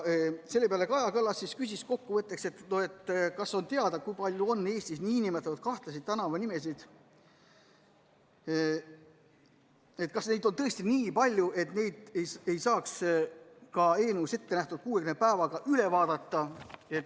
Selle peale küsis Kaja Kallas, kas on teada, kui palju on Eestis nn kahtlasi tänavanimesid, ja kas neid on tõesti nii palju, et neid ei saaks ka eelnõus ette nähtud 60 päevaga üle vaadata.